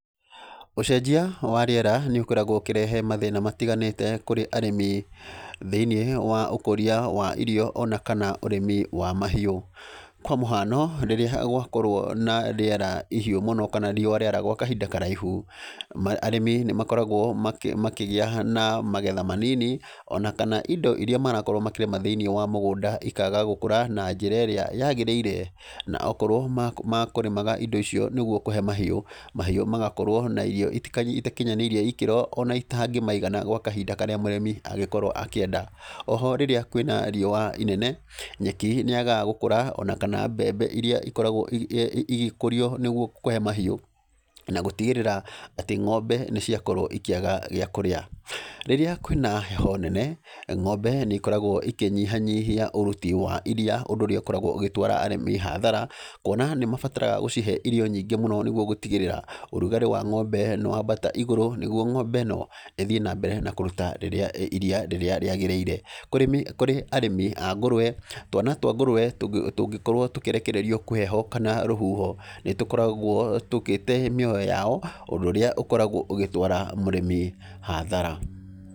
Ũcenjia wa rĩera nĩ ũkoragwo ũkĩrehe mathĩna matiganĩte kũrĩ arĩmi thĩiniĩ wa ũkũria wa irio ona kana ũrĩmi wa mahiũ. Kwa mũhano, rĩrĩa gwakorwo na rĩera ihiũ mũno kana riũa rĩara gwa kahinda karaihu, arĩmi nĩ makoragwo makĩgĩa na magetha manini ona kana indo irĩa marakorwo makĩrĩma thĩiniĩ wa mũgũnda ikaga gũkũra na njĩra ĩrĩa yagĩriire. Na okorwo ma kũrĩmaga indo icio nĩ guo kũhe mahu, mahiũ magakorwo na irio itakinyanĩirie ikĩro ona itangĩmaigana gwa kahinda karĩa mũrĩmi angĩkorwo akĩenda. Oho, rĩrĩa kwĩ na riũa inene, nyeki nĩ yagaga gũkũra, ona kana mbembe irĩa ikoragwo igĩkũrio nĩguo kũhe mahiũ, na gũtigĩrĩra atĩ ng'ombe nĩ ciakorwo ikĩaga gĩa kũria. Rĩrĩa kwĩ na heho nene, ng'ombe nĩ ikoragwo ikĩnyihanyihia ũruti wa iria, ũndũ ũrĩa ũkoragwo ũgĩtwara arĩmi hathara, kuona nĩ mabataraga gũcihe irio nyingĩ mũno nĩguo gũtigĩrĩra ũrugarĩ wa ng'ombe nĩ wambata igũrũ, nĩguo ng'ombe ĩno ĩthiĩ na mbere na kũruta iria rĩrĩa rĩagĩrĩire. Kũrĩ arĩmi a ngũrũwe, twana twa ngũrũwe tũngĩkorwo tũkĩrekererio kwĩ heho kana rũhuho, nĩ tũkoragwo tũgĩte mĩoyo yao, ũndũ ũrĩa ũkoragwo ũgĩtwara mũrĩmi hathara.